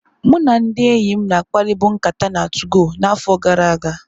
Mụ na ndị enyim na akpari bụ nkata na 2gọ na afo gara aga.